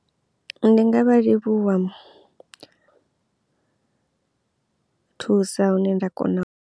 Ndi nga vha livhuwa thusa hune nda kona.